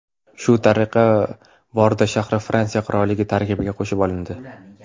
Shu tariqa Bordo shahri Fransiya qirolligi tarkibiga qo‘shib olindi.